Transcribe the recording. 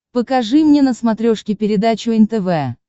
покажи мне на смотрешке передачу нтв